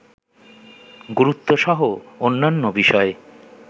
গুরুত্বসহ অন্যান্য বিষয়ে